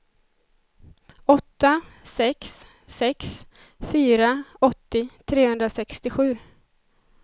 åtta sex sex fyra åttio trehundrasextiosju